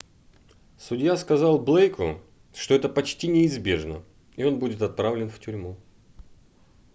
судья сказал блейку что это почти неизбежно и он будет отправлен в тюрьму